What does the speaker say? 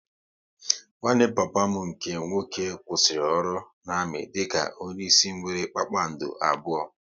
Nwanne papa m nke nwoke kwụsịrị ọrụ na-amị dị ka onye isi nwéré kpakpando abụọ